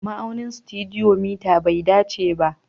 Ma'aunin stadiometer bai dace ba